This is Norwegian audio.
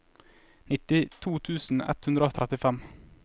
nittito tusen ett hundre og trettifem